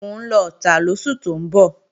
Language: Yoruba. Mò ń lọ Ọ̀tà lóṣù tó ń bọ̀